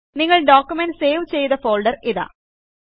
നിങ്ങൾ document save ചെയ്ത folder ഇതാ